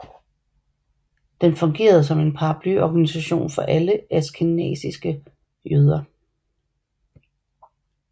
Den fungerede som en paraplyorganisasjon for alle askenasiske jøder